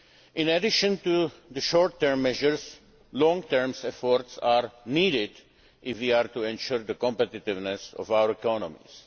In addition to the short term measures, long term efforts are needed if we are to ensure the competitiveness of our economies.